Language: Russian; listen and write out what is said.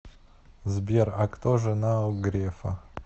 сбер а кто жена у грефа